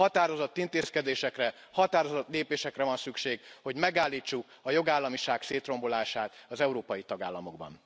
Határozott intézkedésekre, határozott lépésekre van szükség, hogy megállítsuk a jogállamiság szétrombolását az európai tagállamokban.